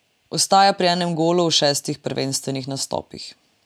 Ostaja pri enem golu v šestih prvenstvenih nastopih.